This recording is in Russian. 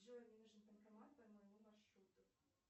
джой мне нужен банкомат по моему маршруту